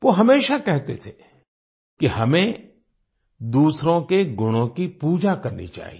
वो हमेशा कहते थे कि हमें दूसरों के गुणों की पूजा करनी चाहिए